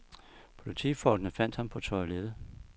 Politifolkene fandt ham på toilettet.